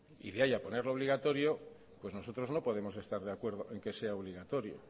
y de ahí a ponerlo obligatorio pues nosotros no podemos estar de acuerdo en que sea obligatorio